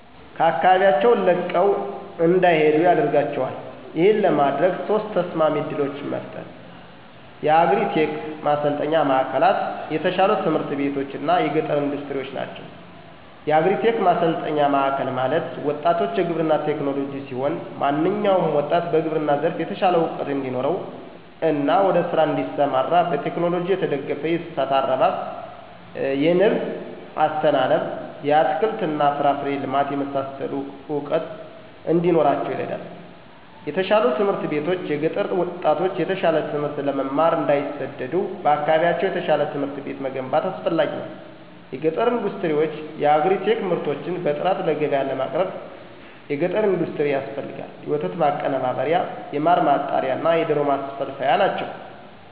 ከአካባቢያቸውን ለቀው እንዳይሄዱ ያደደርጋቸዋል። ይህን ለማድረግ ሶስት ተስማሚ እድሎችን መፍጠር። የአግሪ-ቴክ ማሠልጠኝ ማዕከልላት፣ የተሻሉ ትምህርት ቤቶች እና የገጠር ኢንዱስትሪዎች ናቸው። -የአግሪ-ቴክ ማሠልጠኛ ማዕከል ማለት፦ ወጣቶች የግብርና ቴክኖሎጅ ሲሆን። ማንኛውም ወጣት በግብርና ዘርፍ የተሻለ እውቀት እንዲኖረው እና ወደ ስራ እዲሠማራ በቴክኖሎጅ የተደገፈ የእንስሳት አረባብ፣ የንብ አስተናነብ፣ የአትክልት እና ፍራፍሬ ልማት የመሳሠሉ እውቀት እንዲኖራቸው ይረዳል። -የተሻሉ ትምህርት ቤቶች፦ የገጠር ጣቶች የተሻለ ትምህት ለመማር እንዳይሠደዱ በአካባቢያቸው የተሻለ ትምህርት ቤት መገንባት አስፈላጊ ነው። -የገጠር ኢንዱስትሪዎች፦ የየአግሪ-ቴክ ምርቶችን በጥራት ለገብያ ለማቅረብ የገጠር ኢንዱስትሪ ያስፈልጋል የወተት ማቀናበሪያ፣ የማር ማጣሪያ፣ እና የዶሮ ማስፈልፈያ ናቸው።